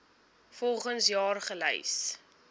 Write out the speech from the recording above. volgens jaar gelys